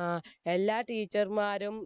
ആ എല്ലാ teacher മാരും